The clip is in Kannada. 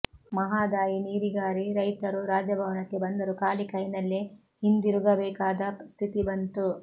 ಮಹಾದಾಯಿ ನೀರಿಗಾರಿ ರೈತರು ರಾಜಭವನಕ್ಕೆ ಬಂದರೂ ಖಾಲಿ ಕೈನಲ್ಲೇ ಹಿಂದಿರುಗಬೇಕಾದ ಸ್ಥಿತಿ ಬಂತು